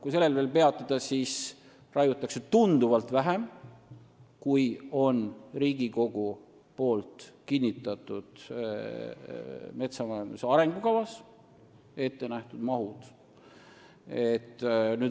Kui sellel veel peatuda, siis raiutakse tunduvalt vähem Riigikogu kinnitatud metsanduse arengukavas ettenähtud mahtudest.